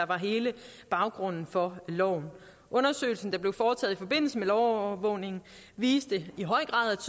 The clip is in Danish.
var hele baggrunden for loven undersøgelsen der blev foretaget i forbindelse med lovovervågningen viste i høj grad